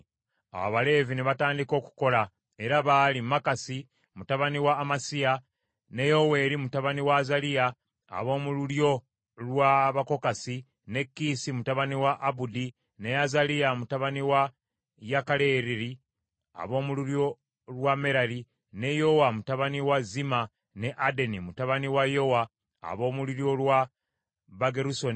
Awo Abaleevi ne batandika okukola era baali: Makasi mutabani wa Amasayi, ne Yoweeri mutabani wa Azaliya ab’omu lulyo lwa Bakokasi, ne Kiisi mutabani wa Abudi, ne Azaliya mutabani wa Yekalereri ab’omu lulyo lwa Merali, ne Yowa mutabani wa Zimma, ne Adeni mutabani wa Yowa ab’omu lulyo lwa Bagerusoni,